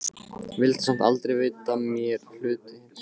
Vildi samt aldrei veita mér hlutdeild í henni.